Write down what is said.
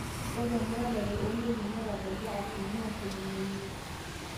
ore emuratare oontoyie netabaikia asilimia tomon oimiet